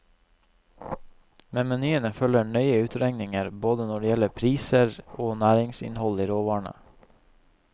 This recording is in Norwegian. Med menyene følger nøye utregninger både når det gjelder priser og næringsinnhold i råvarene.